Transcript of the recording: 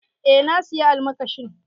Eh na sayi almakashin.